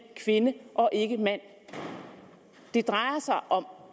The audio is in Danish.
kvinde og ikke mand det drejer sig om